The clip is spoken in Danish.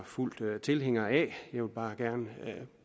fuldt ud tilhænger af jeg vil bare gerne